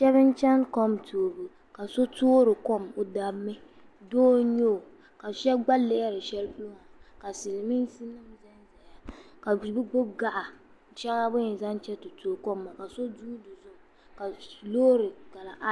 Sheba n cheni kom toobu ka so toori kom o dabmi doo n nyɛ o ka sheba lihiri shelipolo ka bɛ gbibi gaɣa sheŋɔ nini yɛn zaŋ ti toogi kom maa ka so guuri na ka loori.